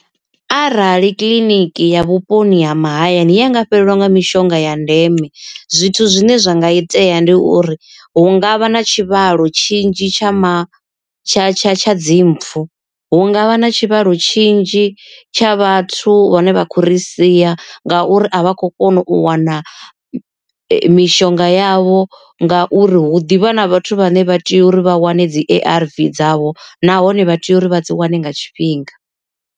Arali kiḽiniki ya vhuponi ha mahayani yanga fhelelwa nga mishonga ya ndeme zwithu zwine zwa nga itea ndi uri hu ngavha na tshivhalo tshinzhi tshama tsha tsha tsha dzimpfu, hu ngavha na tshivhalo tshinzhi tsha vhathu vhane vha khou ri sia nga uri a vha khou kona u wana mishonga yavho, nga uri hu ḓivha na vhathu vhane vha tea uri vha wane dzi A_R_V dzavho nahone vha tea uri vha dzi wane nga tshifhinga.